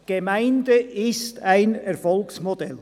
Die Gemeinde ist ein Erfolgsmodell.